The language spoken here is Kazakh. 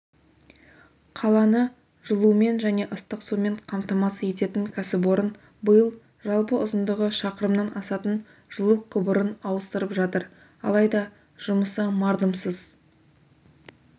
қаланы жылумен және ыстық сумен қамтамасыз ететін кәсіпорын биыл жалпы ұзындығы шақырымнан асатын жылу құбырын ауыстырып жатыр алайда жұмысы мардымсыз